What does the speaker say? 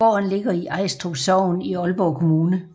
Gården ligger i Ajstrup Sogn i Aalborg Kommune